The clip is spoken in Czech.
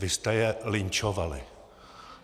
Vy jste je lynčovali!